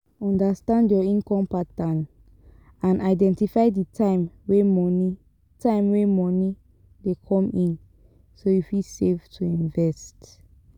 Understand your income pattern and identify di time wey money time wey money dey come in so you fit save to invest